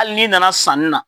Hali n'i nana sanni na,